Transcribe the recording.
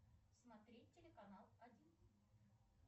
смотреть телеканал один